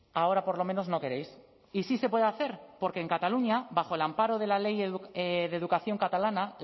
ahora por lo menos no queréis y sí se puede hacer porque en cataluña bajo el amparo de la ley de educación catalana